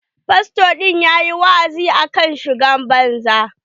Fasto ɗin ya ƴi wa'azi akan shigar banza.